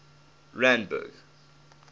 randburg